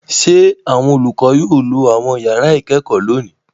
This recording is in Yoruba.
Ṣé àwọn olùkọ́ yóò lọ àwọn ìyàrá-ìkẹ́kọ̀ọ́ lónìí?